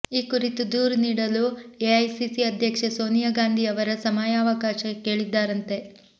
ಈ ಕುರಿತು ದೂರು ನೀಡಲು ಎಐಸಿಸಿ ಅಧ್ಯಕ್ಷೆ ಸೋನಿಯಾ ಗಾಂಧಿಯವರ ಸಮಯಾವಕಾಶ ಕೇಳಿದ್ದಾರಂತೆ